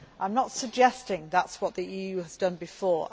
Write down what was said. I am not suggesting that is what the EU has done before.